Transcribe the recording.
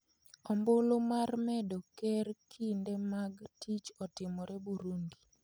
Ombulu mar medo ker kinde mag tich otimore Burundi